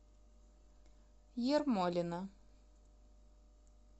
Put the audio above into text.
ермолино